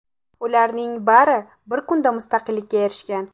Ularning bari bir kunda mustaqillikka erishgan.